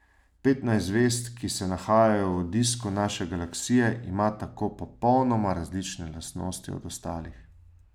Petnajst zvezd, ki se nahajajo v disku naše galaksije, ima tako popolnoma različne lastnosti od ostalih.